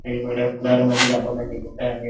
हे वडाचं झाड मध्ये दाखवल्या गेलेले आहेत.